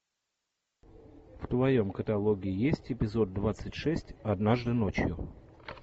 в твоем каталоге есть эпизод двадцать шесть однажды ночью